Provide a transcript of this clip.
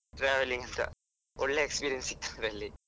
Travelling ಸಾ ಒಳ್ಳೆ experience ಸಿಕ್ತದೆ ಅಲ್ಲಿ ಮತ್ತೆ, ನೀವು ಯಕ್ಷಗಾನ ಮಾಡುದಲ್ಲ?